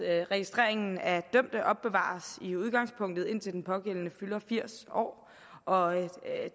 registreringen af dømte opbevares i udgangspunktet indtil den pågældende fylder firs år og